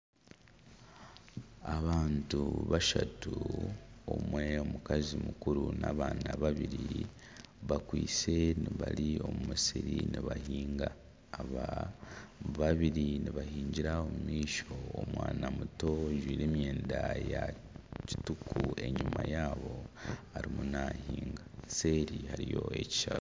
Abantu bashatu omwe omukazi mukuru na'abaana babiri bakwaitse bari omu musiri nibahinga. Aba babiri nibahingira omu maisho, omwana muto ojwaire emyenda ya kituku enyima yaabo arimu nahinga. Seeri hariyo ekishaka.